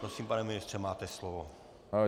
Prosím, pane ministře, máte slovo.